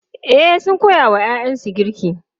E, sun koya wa ‘ya’yansu girki.